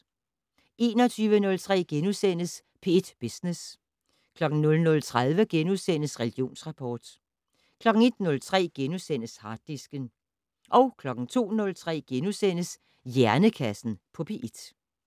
21:03: P1 Business * 00:30: Religionsrapport * 01:03: Harddisken * 02:03: Hjernekassen på P1 *